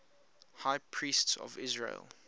high priests of israel